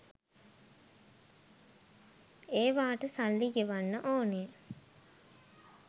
ඒවාට සල්ලි ගෙවන්න ඕනේ